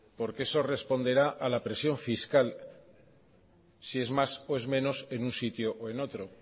porque eso responderá a la presión fiscal si es más o es menos en un sitio o en otro